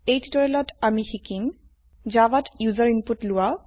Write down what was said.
এই টিউটোৰিয়েলত আমি শিকিম জাভাত ইউজাৰ ইনপুট লোৱা